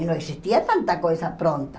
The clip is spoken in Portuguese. E não existia tanta coisa pronta.